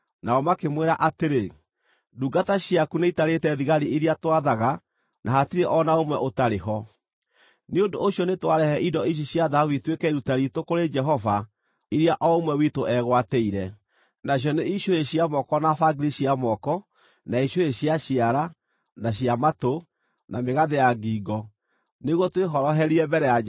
Nĩ ũndũ ũcio nĩtwarehe indo ici cia thahabu ituĩke iruta riitũ kũrĩ Jehova iria o ũmwe witũ eegwatĩire, nacio nĩ icũhĩ cia moko na bangiri cia moko, na icũhĩ cia ciara, na cia matũ, na mĩgathĩ ya ngingo, nĩguo twĩhoroherie mbere ya Jehova.”